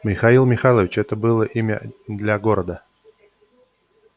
михаил михайлович это было имя для города